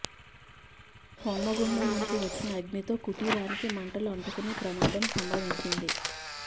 హోమగుండం నుంచి వచ్చిన అగ్నితో కుటీరానికి మంటలు అంటుకుని ప్రమాదం సంభవించింది